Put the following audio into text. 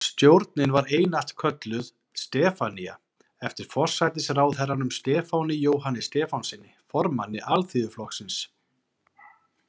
Stjórnin var einatt kölluð „Stefanía“, eftir forsætisráðherranum Stefáni Jóhanni Stefánssyni, formanni Alþýðuflokksins.